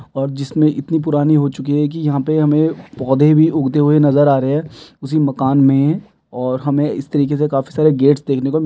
और जिसमे इतनी पुरानी हो चुकि है की यहाँ पर हमे पौधे भी उगते हुए नजर आ रहे है उसी मकान में और हमे इस तरीके से काफी सारे गेट्स देखने को ---